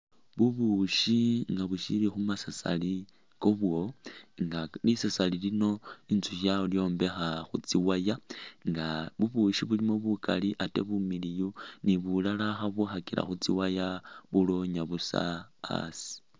Bubushi nga bushili khumasasali khwabwo nga lisasali lino inzukhi yalyombekha khutsi wire nga bubushi bulimo bukali ate bumiliyu ni bulala khabwikhakila khutsi wire bulonya busa a'asi